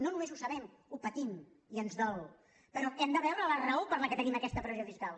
no només ho sabem ho patim i ens dol però hem de veure la raó per què tenim aquesta pressió fiscal